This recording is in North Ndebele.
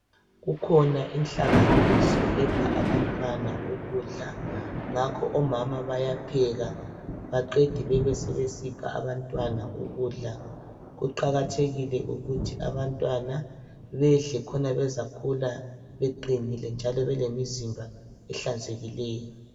Kukhona inhlanganiso epha abantwana ukudla. Ngakho omama bayapheka baqede bebesebesipha abantwana ukudla. Kuqakathekile ukuthi abantwana bedle, khona bezakhula beqinile njalo belemizimba ehlanzekileyo.